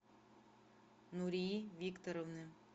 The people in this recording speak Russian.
нурии викторовны